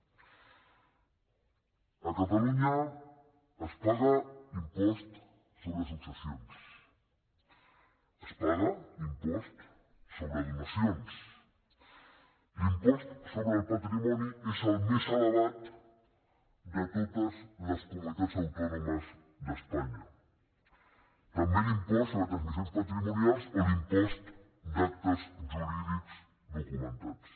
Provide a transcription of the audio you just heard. a catalunya es paga impost sobre successions es paga impost sobre donacions l’impost sobre el patrimoni és el més elevat de totes les comunitats autònomes d’espanya també l’impost sobre transmissions patrimonials o l’impost d’actes jurídics documentats